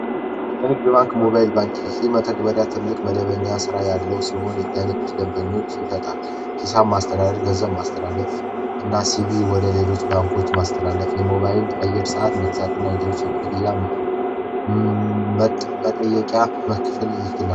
የንግድ ባንክ ሞባይል ባንኪንግ መተግበርያ ትልቅ ደንበኛ ያለው ሲሆን ለደምበኞች አገልግሎት ይሰጣል ሂሳብ ማስተላለፍ ገንዘብ ማስተላለፍ ወደ ሌሎች ባንኮች ማስተላለፍ የሞባይል የአየር ሰዓት መግዛትና ሌሎች የክፍያ መጠየቅያ መክፈል ይችላል።